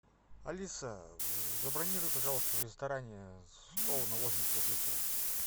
алиса забронируй пожалуйста в ресторане стол на восемь часов вечера